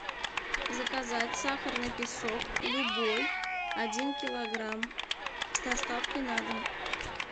заказать сахарный песок любой один килограмм с доставкой на дом